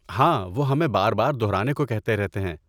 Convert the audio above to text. ہاں، وہ ہمیں بار بار دہرانے کو کہتے رہتے ہیں۔